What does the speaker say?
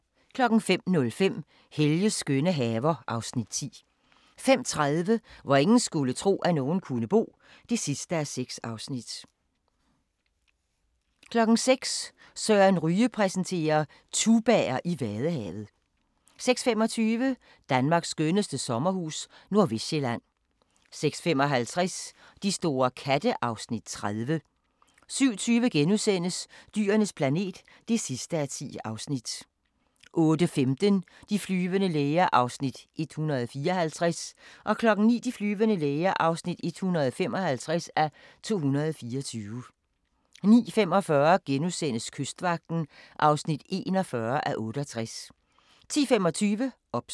05:05: Helges skønne haver (Afs. 10) 05:30: Hvor ingen skulle tro, at nogen kunne bo (6:6) 06:00: Søren Ryge præsenterer: Tubaer i Vadehavet 06:25: Danmarks skønneste sommerhus – Nordvestsjælland 06:55: De store katte (Afs. 30) 07:20: Dyrenes planet (10:10)* 08:15: De flyvende læger (154:224) 09:00: De flyvende læger (155:224) 09:45: Kystvagten (41:68)* 10:25: OBS